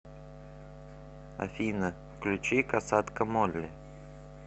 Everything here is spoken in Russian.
афина включи косатка молли